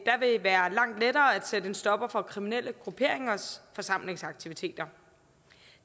vil være langt lettere at sætte en stopper for kriminelle grupperingers forsamlingsaktiviteter